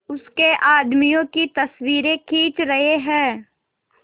उसके आदमियों की तस्वीरें खींच रहे हैं